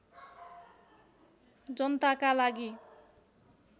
जनताका लागि